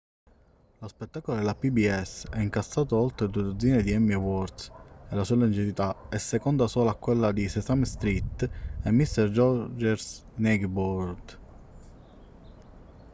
lo spettacolo della pbs ha incassato oltre due dozzine di emmy awards e la sua longevità è seconda solo a quella di sesame street e mister rogers' neighborhood